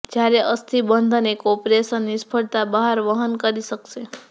જ્યારે અસ્થિબંધન એક ઓપરેશન નિષ્ફળતા બહાર વહન કરી શકશે